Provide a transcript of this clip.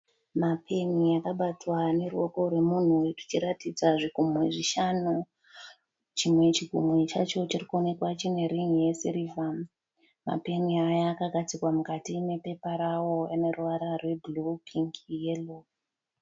Mapeni akabatwa neruoko rwemunhu rwuchiratidza zvigunwe zvishanu. Chimwe chigumwe chacho chiri kuonekwa chine rin'i yesirivha. Mapeni aya akagadzikwa mukati mepepa rawo ane ruvara rwebhuruu, pingi, yero.